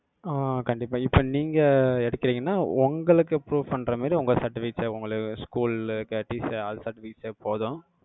ஆஹ் கண்டிப்பா. இப்ப நீங்க எடுக்குறீங்கன்னா, உங்களுக்கு proof பண்ற மாதிரி, உங்க certificate தேவ்~, உங்கள school ல, , all certificate ஏ போதும்.